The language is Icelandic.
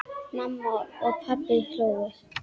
Mamma og pabbi hlógu.